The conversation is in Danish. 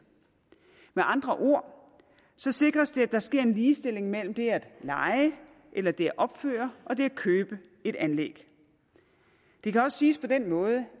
med andre ord sikres det at der sker en ligestilling imellem det at leje eller det at opføre og det at købe et anlæg det kan også siges på den måde